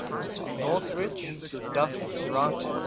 norwich duff writes